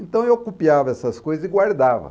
Então eu copiava essas coisas e guardava.